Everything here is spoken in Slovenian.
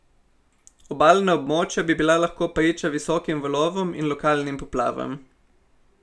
Obalna območja bi bila lahko priča visokim valovom in lokalnim poplavam.